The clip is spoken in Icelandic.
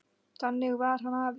Þannig var hann afi.